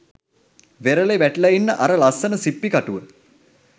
වෙරළෙ වැටිලා ඉන්න අර ලස්සන සිප්පි කටුව